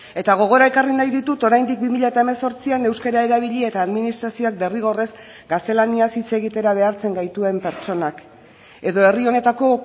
eta gogora ekarri nahi ditut oraindik bi mila hemezortzian euskara erabili eta administrazioak derrigorrez gaztelaniaz hitz egitera behartzen gaituen pertsonak edo herri honetako